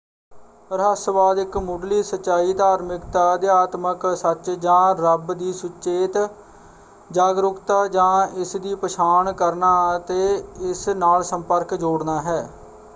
ਰਹੱਸਵਾਦ ਇੱਕ ਮੁੱਢਲੀ ਸੱਚਾਈ ਧਾਰਮਿਕਤਾ ਅਧਿਆਤਮਕ ਸੱਚ ਜਾਂ ਰੱਬ ਦੀ ਸਚੇਤ ਜਾਗਰੂਕਤਾ ਜਾਂ ਇਸ ਦੀ ਪਛਾਣ ਕਰਨਾ ਅਤੇ ਇਸ ਨਾਲ ਸੰਪਰਕ ਜੋੜਨਾ ਹੈ।